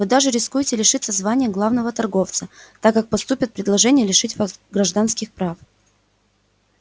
вы даже рискуете лишиться звания главного торговца так как поступят предложения лишить вас гражданских прав